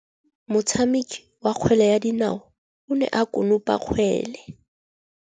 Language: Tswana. Motshameki wa kgwele ya dinaô o ne a konopa kgwele.